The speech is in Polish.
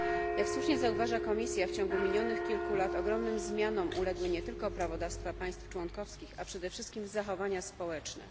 Jak słusznie zauważa Komisja, w ciągu minionych kilku lat ogromnym zmianom uległy nie tylko prawodawstwa państw członkowskich, ale przede wszystkim zachowania społeczne.